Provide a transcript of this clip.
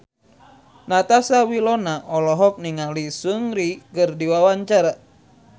Natasha Wilona olohok ningali Seungri keur diwawancara